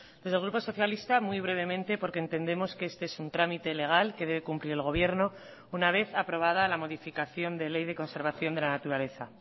desde el grupo socialista muy brevemente porque entendemos que este es un trámite legal que debe cumplir el gobierno una vez aprobada la modificación de ley de conservación de la naturaleza